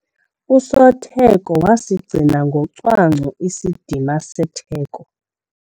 Usotheko wasigcina ngocwangco isidima setheko.